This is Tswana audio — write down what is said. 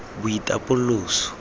boitapoloso